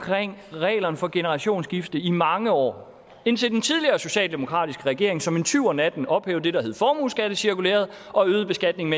reglerne for generationsskifte i mange år indtil den tidligere socialdemokratisk ledede regering som en tyv om natten ophævede det der hed formueskattecirkulæret og øgede beskatningen